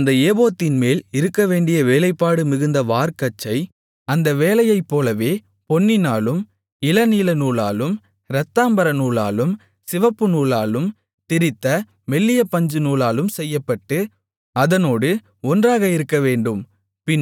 அந்த ஏபோத்தின்மேல் இருக்கவேண்டிய வேலைப்பாடு மிகுந்த வார்க்கச்சை அந்த வேலையைப்போலவே பொன்னினாலும் இளநீலநூலாலும் இரத்தாம்பரநூலாலும் சிவப்புநூலாலும் திரித்த மெல்லிய பஞ்சுநூலாலும் செய்யப்பட்டு அதனோடு ஒன்றாக இருக்கவேண்டும்